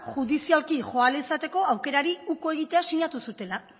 judizialki joan ahal izateko aukerari uko egitea sinatu zutela